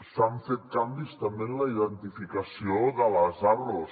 s’han fet canvis també en la identificació de les arros